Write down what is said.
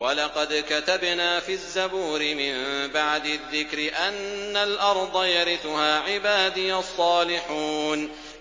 وَلَقَدْ كَتَبْنَا فِي الزَّبُورِ مِن بَعْدِ الذِّكْرِ أَنَّ الْأَرْضَ يَرِثُهَا عِبَادِيَ الصَّالِحُونَ